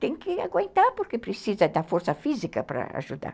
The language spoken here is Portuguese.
Tem que aguentar, porque precisa da força física para ajudar.